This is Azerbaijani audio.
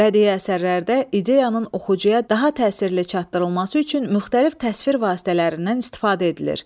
Bədii əsərlərdə ideyanın oxucuya daha təsirli çatdırılması üçün müxtəlif təsvir vasitələrindən istifadə edilir.